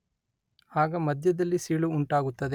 ಆಗ ಮಧ್ಯದಲ್ಲಿ ಸೀಳು ಉಂಟಾಗುತ್ತದೆ